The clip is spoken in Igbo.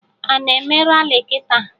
Ana eme Rali kịta?